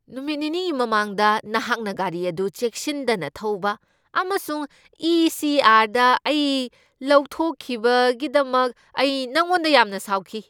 ꯅꯨꯃꯤꯠ ꯅꯤꯅꯤꯒꯤ ꯃꯃꯥꯡꯗ ꯅꯍꯥꯛꯀꯤ ꯒꯥꯔꯤ ꯑꯗꯨ ꯆꯦꯛꯁꯤꯟꯗꯅ ꯊꯧꯕ ꯑꯃꯁꯨꯡ ꯏ. ꯁꯤ. ꯑꯥꯔ. ꯗ ꯑꯩ ꯂꯧꯊꯣꯛꯈꯤꯕꯒꯤꯗꯃꯛ ꯑꯩ ꯅꯪꯉꯣꯟꯗ ꯌꯥꯝꯅ ꯁꯥꯎꯈꯤ ꯫